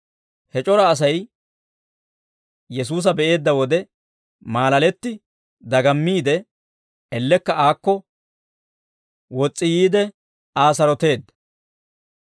He c'ora Asay Yesuusa be'eedda wode maalaletti dagammiide, ellekka aakko wos's'i yiide, Aa saroteedda.